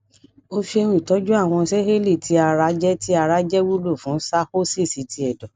o ṣeun itọju awọn sẹẹli ti ara jẹ ti ara jẹ wulo fun cirrhosis ti ẹdọ